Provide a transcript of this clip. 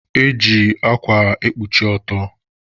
Eji akwa ekpuchi ọtọ